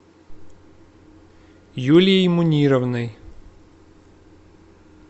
юлией мунировной